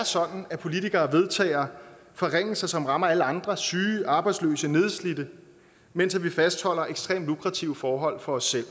sådan at politikere vedtager forringelser som rammer alle andre syge arbejdsløse nedslidte mens vi fastholder ekstremt lukrative forhold for os selv